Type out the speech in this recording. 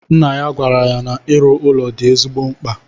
Nna ya gwara ya na iru ụlọ di ezigbo mkpa